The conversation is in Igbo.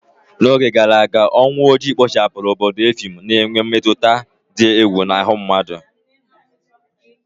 Ọnwa ole na ole gara aga, ọnwụ ojii kpochapụrụ obodo effium, na-enwe mmetụta dị egwu n'ahụ mmadụ